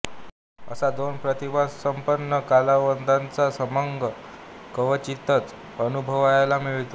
असा दोन प्रतिभासंपन्न कलावंतांचा संगम क्वचितच अनुभवायला मिळतो